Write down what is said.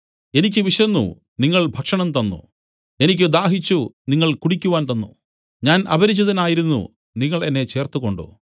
എനിക്ക് വിശന്നു നിങ്ങൾ ഭക്ഷണം തന്നു എനിക്ക് ദാഹിച്ചു നിങ്ങൾ കുടിക്കുവാൻ തന്നു ഞാൻ അപരിചിതനായിരുന്നു നിങ്ങൾ എന്നെ ചേർത്തുകൊണ്ടു